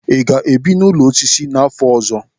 Ị ga-ebi n'ụlọ osisi n'afọ ọzọ?